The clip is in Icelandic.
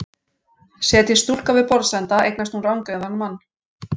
Setjist stúlka við borðsenda eignast hún rangeygðan mann.